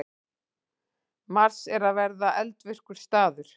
Mars er eða var eldvirkur staður.